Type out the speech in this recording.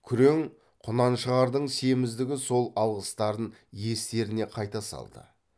күрең құнаншығардың семіздігі сол алғыстарын естеріне қайта салды